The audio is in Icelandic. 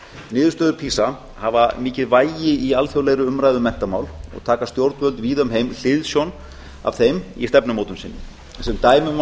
niðurstöður pisa hafa mikið vægi í alþjóðlegri umræðu um menntamál og taka stjórnvöld víða um heim hliðsjón af þeim í stefnumótun sinni sem dæmi má